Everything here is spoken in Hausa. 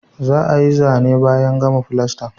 Za ayi Zane ne bayan gama fulasta ne